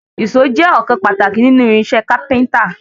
Ìṣó jẹ́ ọ̀kan pàtàkì nínú irinṣẹ́ kápẹ́ńtà.